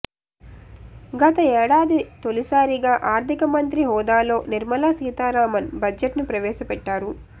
గత ఏడాది తొలిసారిగా ఆర్థిక మంత్రి హోదాలో నిర్మలా సీతారామన్ బడ్జెట్ను ప్రవేశపెట్టారు